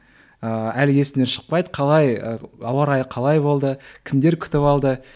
ыыы әлі есімнен шықпайды қалай ы ауа райы қалай болды кімдер күтіп алды